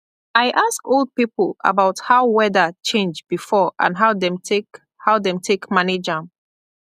i ask old people about how weather change before and how dem take how dem take manage am